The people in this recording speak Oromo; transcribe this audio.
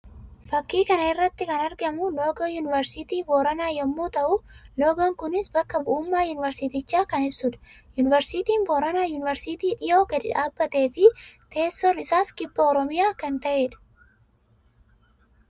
Fakkii kana irratti kan argamu loogoo yuuniversiitii Booranaa yammuu ta'u; loogoon kunis bakka bu'ummaa yuunversiitichaa kan ibsuu dha. Yuuniversiitiin Booranaa yuuniversiitii dhiyoo gadi dhaabbatee fi teessoon isaas kibba Oromiyaa kan ta'ee dha.